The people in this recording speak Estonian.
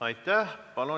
Aitäh!